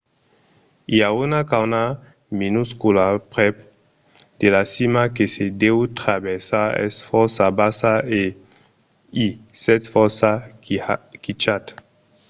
i a una cauna minuscula prèp de la cima que se deu traversar es fòrça bassa e i sètz fòrça quichat